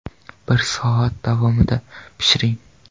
Bir soat davomida pishiring.